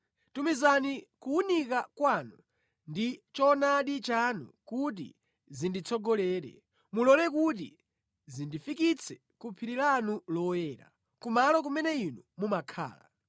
Tumizani kuwunika kwanu ndi choonadi chanu kuti zinditsogolere; mulole kuti zindifikitse ku phiri lanu loyera, kumalo kumene inu mumakhala.